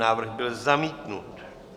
Návrh byl zamítnut.